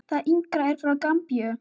Það yngra er frá Gambíu.